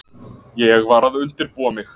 Ég var að undirbúa mig.